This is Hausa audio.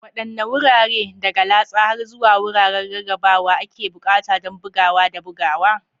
Waɗanne wurare, daga latsa har zuwa wuraren rarrabawa, ake buƙata don bugawa da bugawa?